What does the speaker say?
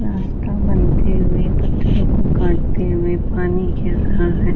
रास्ता बनते हुए पत्थरों को काटते हुए पानी गिर रहा है।